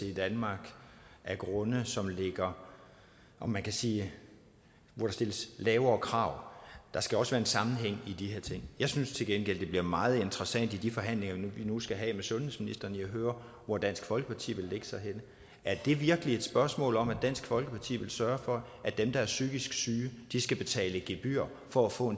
i danmark af grunde hvor man kan sige der stilles lavere krav der skal også være en sammenhæng i de her ting jeg synes til gengæld at det bliver meget interessant i de forhandlinger vi nu skal have med sundhedsministeren at høre hvor dansk folkeparti vil lægge sig er det virkelig et spørgsmål om at dansk folkeparti vil sørge for at dem der er psykisk syge skal betale gebyr for at få